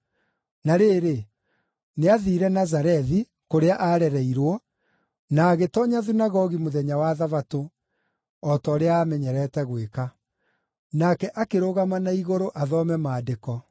Na rĩrĩ, nĩathiire Nazarethi, kũrĩa aarereirwo, na agĩtoonya thunagogi mũthenya wa Thabatũ, o ta ũrĩa aamenyerete gwĩka. Nake akĩrũgama na igũrũ athome Maandĩko.